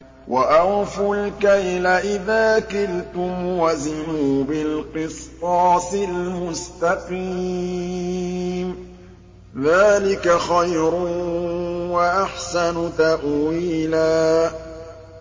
وَأَوْفُوا الْكَيْلَ إِذَا كِلْتُمْ وَزِنُوا بِالْقِسْطَاسِ الْمُسْتَقِيمِ ۚ ذَٰلِكَ خَيْرٌ وَأَحْسَنُ تَأْوِيلًا